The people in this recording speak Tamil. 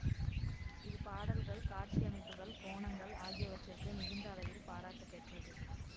இது பாடல்கள் காட்சியமைப்புகள் கோணங்கள் ஆகியவற்றிற்கு மிகுந்த அளவில் பாராட்டுப் பெற்றது